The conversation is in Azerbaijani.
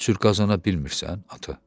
Heç cür qazana bilmirsən ata?